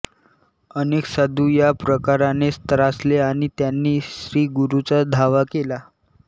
अनेक साधु या प्रकाराने त्रासले आणि त्यांनी श्रीगुरूंचा धावा केला